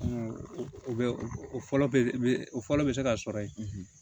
O fɔlɔ bɛ o fɔlɔ bɛ se ka sɔrɔ yen